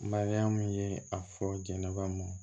Mariyamu ye a fɔ jɛnɛba m